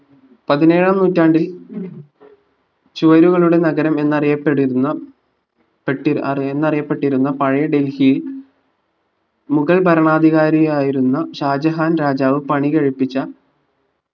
പതിനെഴാം നൂറ്റാണ്ടിൽ ചുവരുകളുടെ നഗരം എന്നറിയപ്പെടുന്ന പെട്ടിരുന്ന അറിയ എന്നറിയപ്പെട്ടിരുന്ന പഴയ ഡൽഹി മുഗൾ ഭരണാധികാരിയായിരുന്ന ഷാജഹാൻ രാജാവ് പണി കഴിപ്പിച്ച